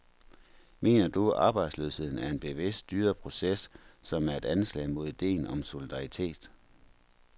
Mener du, arbejdsløsheden er en bevidst, styret proces, som er et anslag mod ideen om solidaritet?